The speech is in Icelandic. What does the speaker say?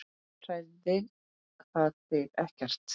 Hræðir það þig ekkert?